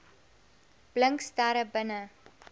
blink sterre binne